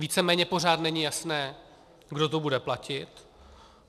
Víceméně pořád není jasné, kdo to bude platit.